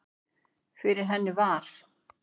Fyrir henni var